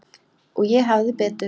Og ég hafði betur.